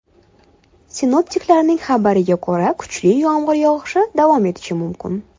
Sinoptiklarning xabariga ko‘ra, kuchli yomg‘ir yog‘ishi davom etishi mumkin.